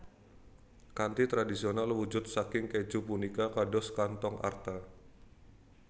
Kanthi tradisional wujud saking kèju punika kados kanthong arta